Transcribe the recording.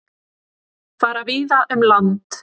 Fara víða um land